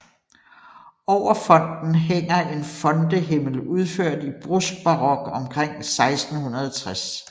Over fonten hænger en fontehimmel udført i bruskbarok omkring 1660